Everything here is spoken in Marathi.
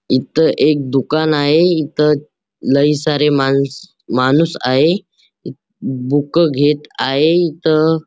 इथ एक दुकान आहे इथ लई सारे मानस माणूस आहे बूक घेत आहे इथ--